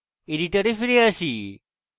editor ফিরে আসি